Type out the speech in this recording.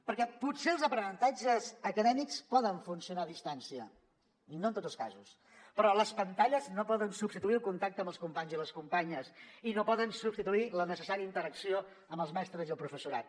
perquè potser els aprenentatges acadèmics poden funcionar a distància i no en tots els casos però les pantalles no poden substituir el contacte amb els companys i les companyes i no poden substituir la necessària interacció amb els mestres i el professorat